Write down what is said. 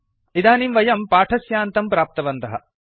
इदानीं वयं पाठस्यान्तं प्राप्तवन्तः